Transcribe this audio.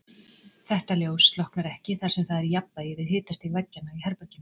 Þetta ljós slokknar ekki þar sem það er í jafnvægi við hitastig veggjanna í herberginu.